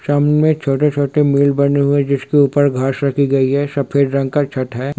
सामने में छोटे-छोटे मिल बने हुए है जिसके ऊपर घास रखी गई है सफेद रंग का छत है।